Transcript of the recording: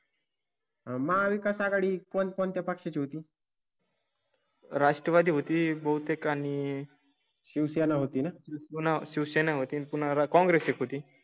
महाविकास आघाडी कोण कोणत्या पक्षा ची होती? राष्ट्रवादी होती बहुतेक आणि. शिवसेना होती ना? पुन्हा शिवसेना होती. पुन्हा कॉंग्रेस ची होती.